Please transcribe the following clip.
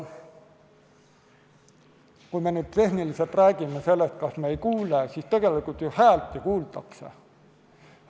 Kui me nüüd tehniliselt räägime sellest, kas ei kuule, siis tegelikult häält ju kuuldakse.